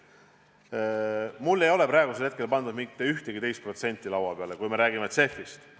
Mulle ei ole praegusel hetkel pandud mitte ühtegi teist protsenti laua peale, kui me räägime CEF-ist.